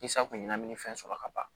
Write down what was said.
Safunɛmini fɛn sɔrɔ ka ban